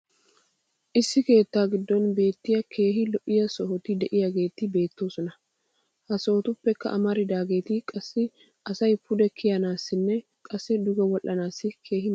issi keettaa giddon beetiya keehi lo'iya sohoti diyaageetti beetoosona. ha sohotuppekka amaridaageetti qassi asay pude kiyanaassinne qassi duge wodhanaassi keehi maadees.